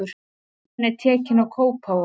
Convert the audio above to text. Stefnan er tekin á Kópavog.